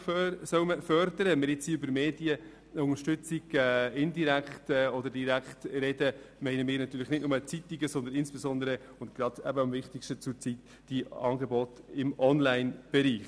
Ungeachtet dessen, ob wir nun über direkte oder indirekte Medienförderung sprechen, sind damit nicht nur die Zeitungen gemeint, sondern insbesondere – und das ist zurzeit eben wohl das Wichtigste – auch die Angebote im Onlinebereich.